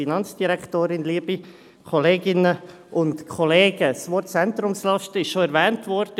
Das Wort «Zentrumslasten» ist bereits erwähnt worden.